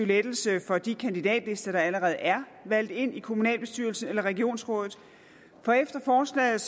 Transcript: lettelse for de kandidatlister der allerede er valgt ind i kommunalbestyrelsen eller regionsrådet for efter forslaget